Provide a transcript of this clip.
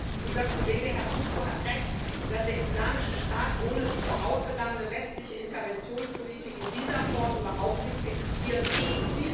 Frau Präsidentin! Unser Kollege Herr Couso hat Recht, dass der Islamische Staat ohne die vorausgegangene westliche Interventionspolitik in dieser Form überhaupt nicht existieren würde.